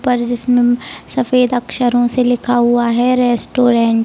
पर जिस पर उम्म सफेद अक्षरों से लिखा हुआ है रेस्टोरेंट ।